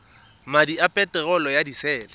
madi a peterolo ya disele